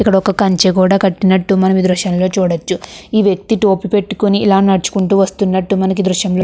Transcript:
ఇక్కడ ఒక కంచె కూడా కట్టినట్టు మనం దృశ్యంలో చూడొచ్చు ఈ వ్యక్తి టోపీ పెట్టుకుని ఇలా నడుచుకుంటూ వస్తున్నటు మనకి ఈ దృశ్యం లో --